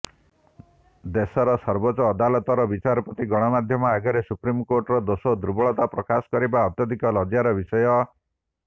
ଦେଶର ସର୍ବୋଚ୍ଚ ଅଦାଲତର ବିଚାରପତି ଗଣମାଧ୍ୟମ ଆଗରେ ସୁପ୍ରିମକୋର୍ଟର ଦୋଷ ଦୁର୍ବଳତା ପ୍ରକାଶ କରିବା ଅତ୍ୟଧିକ ଲଜ୍ଜ୍ୟାର ବିଷୟ